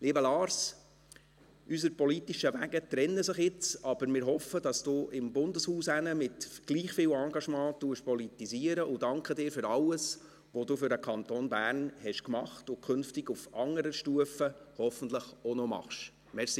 Lieber Lars Guggisberg, unsere politischen Wege trennen sich jetzt, aber wir hoffen, dass Sie drüben im Bundeshaus mit gleich viel Engagement politisieren, und danken Ihnen für alles, was Sie für den Kanton Bern gemacht haben und künftig auf anderer Stufe hoffentlich auch noch machen werden.